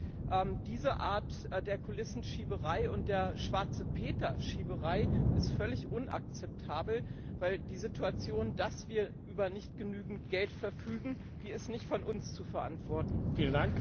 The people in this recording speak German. Aber diese Art der Kulissenschieberei und der Schwarze Peter Schieberei ist völlig unakzeptabel, weil die Situation, dass wir nicht über genügend Geld verfügen, nicht von uns zu verantworten ist.